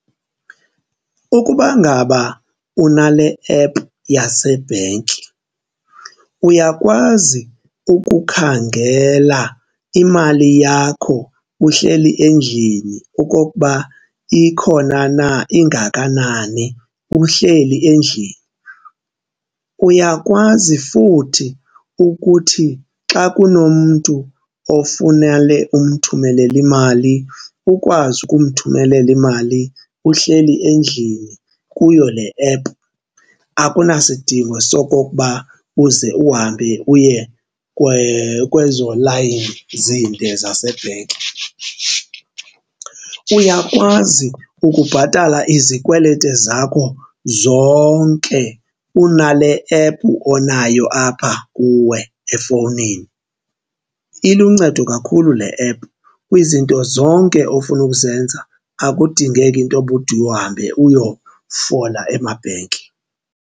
Ukuba ngaba unale app yasebhenki uyakwazi ukukhangela imali yakho uhleli endlini okokuba ikhona na, ingakanani uhleli endlini. Uyakwazi futhi ukuthi xa kunomntu ofuna le, umthumelele imali, ukwazi ukumthumelela imali uhleli endlini kuyo le app akunasidingo sokokuba uze uhambe uye kwezo layini zinde zasebhenki. Uyakwazi ukubhatala izikwelete zakho zonke unale app onayo apha kuwe efowunini. Iluncedo kakhulu le app kwizinto zonke ofuna ukuzenza, akudingeki intoba ude uhambe uyofola emabhenki.